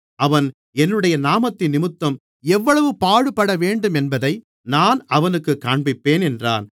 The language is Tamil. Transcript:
அவன் என்னுடைய நாமத்தினிமித்தம் எவ்வளவு பாடுபடவேண்டுமென்பதை நான் அவனுக்குக் காண்பிப்பேன் என்றார்